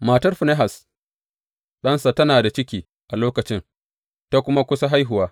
Matar Finehas, ɗansa tana da ciki a lokacin ta kuma kusa haihuwa.